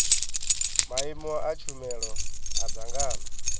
maimo a tshumelo a dzangano